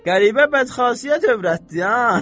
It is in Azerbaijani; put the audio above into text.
Qəribə bədxasiyyət övrətdir ha.